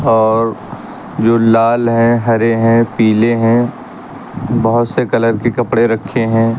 और जो लाल हैं हरे हैं पीले हैं बहुत से कलर के कपड़े रखे हैं।